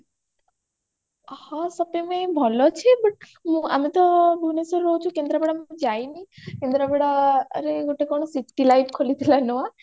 ହଁ shopping ପାଇଁ ଭଲ ଅଛି but ଆମେ ତ ଭୁବନେଶ୍ବରରେ ରହୁଛୁ କେନ୍ଦ୍ରାପଡା ମୁଁ ଯାଇନି କେନ୍ଦ୍ରାପଡା ଆରେ ଗୋଟେ କଣ citylife ଖୋଲିଥିଲା ନୂଆ